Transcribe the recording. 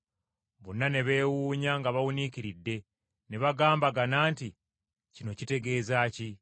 Bonna ne beewuunya nga bawuniikiridde, ne bagambagana nti, “Kino kitegeeza ki?”